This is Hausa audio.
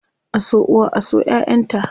A so uwa, a so ƴaʼƴan ta.